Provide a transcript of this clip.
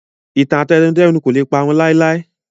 Ìtàn àtẹnudẹ́nu kò lè parun láéláé